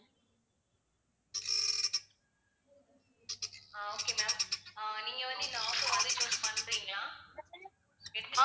ஆஹ் okay ma'am ah நீங்க வந்து இந்த offer வந்து choose பண்றீங்களா